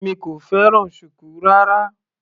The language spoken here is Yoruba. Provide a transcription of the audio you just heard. Èmi kò fẹ́ràn shuku rárá.